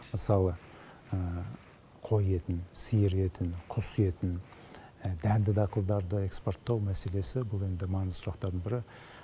мысалы қой етін сиыр етін құс етін дәнді дақылдарды экспорттау мәселесі бұл енді маңызды сұрақтардың бірі